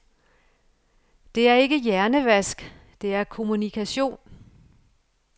Det er ikke hjernevask, det er kommunikation.